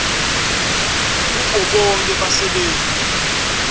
kubo bonkhe basebenti